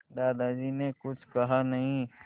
दादाजी ने कुछ कहा नहीं